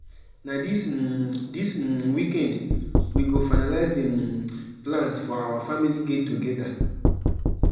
na dis um dis um weekend we go finalize the um plans for our family get togeda